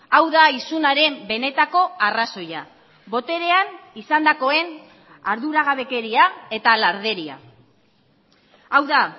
hau da isunaren benetako arrazoia boterean izandakoen arduragabekeria eta larderia hau da